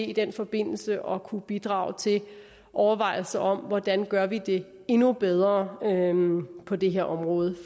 i den forbindelse kommer til at kunne bidrage til overvejelser om hvordan vi gør det endnu bedre på det her område